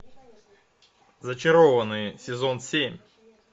зачарованные сезон семь